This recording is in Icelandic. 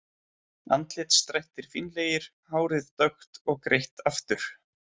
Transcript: Andlitsdrættir fínlegir, hárið dökkt og greitt aftur.